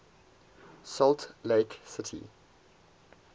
salt lake city